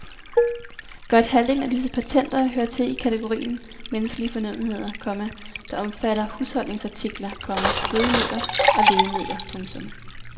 Godt halvdelen af disse patenter hører til i kategorien menneskelige fornødenheder, komma der omfatter husholdningsartikler, komma fødemidler og lægemidler. punktum